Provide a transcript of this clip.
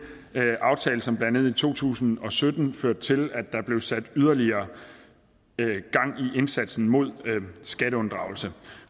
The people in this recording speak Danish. aftale som blandt andet i to tusind og sytten førte til at der blev sat yderligere gang i indsatsen mod skatteunddragelse